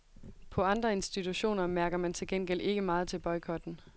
På andre institutioner mærker man til gengæld ikke meget til boykotten.